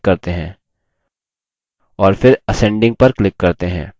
और फिर ascending पर click करते हैं